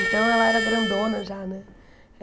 Então, ela era grandona já, né?